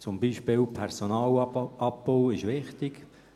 So ist zum Beispiel der Personalabbau wichtig.